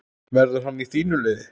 Verður hann í þínu liði?